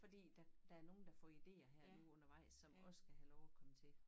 Fordi der der er nogen der får idéer her nu undervejs som også skal have lov at komme til